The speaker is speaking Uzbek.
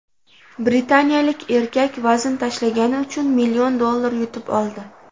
Britaniyalik erkak vazn tashlagani uchun million dollar yutib oldi.